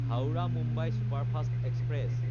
Howrah-Mumbai superfast express